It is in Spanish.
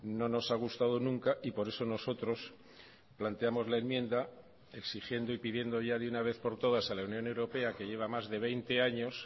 no nos ha gustado nunca y por eso nosotros planteamos la enmienda exigiendo y pidiendo ya de una vez por todas a la unión europea que lleva más de veinte años